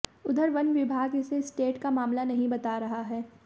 उधर वन विभाग इसे स्टेट का मामला नहीं बता रहा है